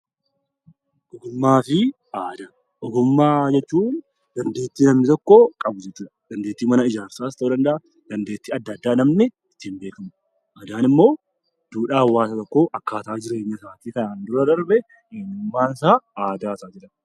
Ogummaa jechuun dandeettii namni tokko qabudha dandeettii mana ijaarsaa ta'uu danda'a dandeettii adda addaa namni ittiin beekamudha. Aadaan immoo duudhaa hawaasa tokkoo akkaataa jireenya isaatii kan kanaan dura darbe eenyummaan isaa aadaa isaati.